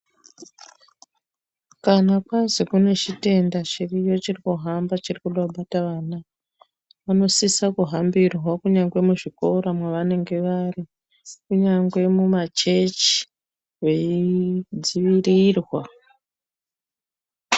Kana kwazi kune chitenda chiriyo chirikuhamba chirikuda kubata vana. Vanosisa kuhambirwa kunyangwe muzvikora kwavanenge vari kunyangwe mumachechi, veidzivirirwa.